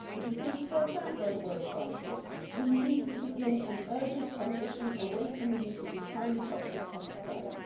It is being spelt out by the world's scientists we need to begin an urgent transition away from the use of these highly toxic pesticides.